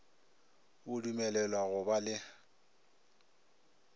o dumelelwa go ba le